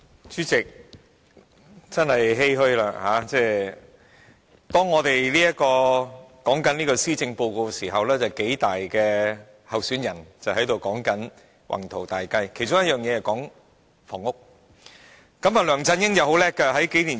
主席，我真的感到欷歔，當我們辯論施政報告時，特首選舉數大候選人正在說其宏圖大計，其中一項是有關房屋。